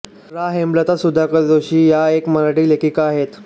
प्रा हेमलता सुधाकर जोशी या एक मराठी लेखिका आहेत